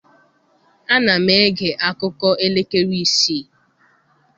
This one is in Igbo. Ana m ege akụkọ elekere isii.